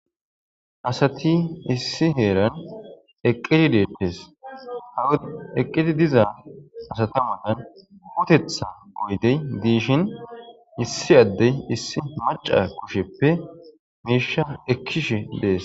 asati issi heeran eqqiti deeppes haw eqqiti diza asatamanan hutetha goydey diishin issi addey issi maca kusheppe miisha ekkish dees